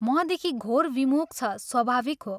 मदेखि घोर विमुख छ स्वाभाविक हो।